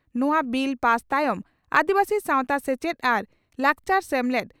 ᱱᱚᱣᱟ bill pass ᱛᱟᱭᱚᱢ ᱟᱹᱫᱤᱵᱟᱹᱥᱤ ᱥᱟᱣᱛᱟ ᱥᱮᱪᱮᱫ ᱟᱨ ᱞᱟᱠᱪᱟᱨ ᱥᱮᱢᱞᱮᱫ